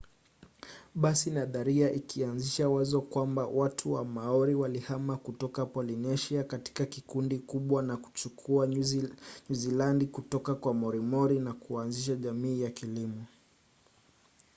basi nadharia ikaanzisha wazo kwamba watu wa maori walihama kutoka polynesia katika kundi kubwa na kuchukua nyuzilandi kutoka kwa moriori na kuanzisha jamii ya kilimo